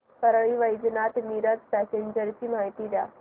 Parli Vaijnath Miraj passenger ची माहिती द्या